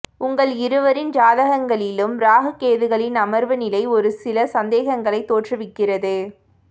உங்கள் இருவரின் ஜாதகங்களிலும் ராகுகேதுக்களின் அமர்வு நிலை ஒரு சில சந்தேகங்களைத் தோற்றுவிக்கிறது